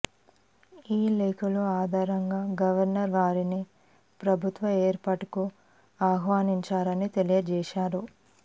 ఈ లేఖలు ఆధారంగా గవర్నర్ వారిని ప్రభుత్వ ఏర్పాటుకు ఆహ్వానించారని తెలియజేశారు